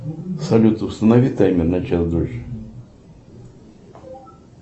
салют установи таймер на час дольше